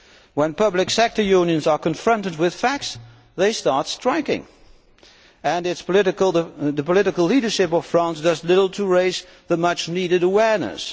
When public sector unions are confronted with facts they start striking and the political leadership of France does little to raise the much needed awareness.